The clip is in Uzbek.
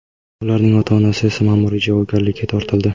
Ularning ota-onasi esa ma’muriy javobgarlikka tortildi.